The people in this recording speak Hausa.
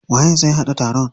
Waye zai haɗa taron?